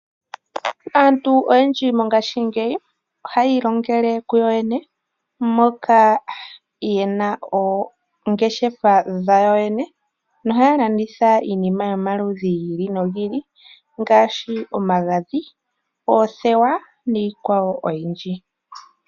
Aantu oyendji mongashingeyi ohaya ilongele ku yoyene moka yena oongeshefa dhawo yene nohaya landitha iinima yomaludhi gi ili nogi ili ngaashi omagadhi, oothewa niikwawo oyindji.